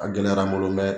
A gɛlɛyara n bolo mɛ